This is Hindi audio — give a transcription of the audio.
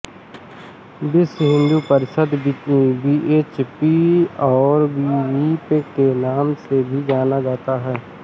विश्व हिन्दू परिषद् वीएचपी और विहिप के नाम से भी जाना जाता है